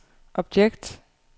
objekt